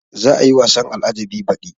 Za a yi wasan al-ajjabi baɗi